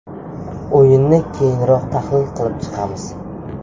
O‘yinni keyinroq tahlil qilib chiqamiz.